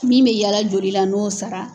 Min mɛ yaala joli la n'o sara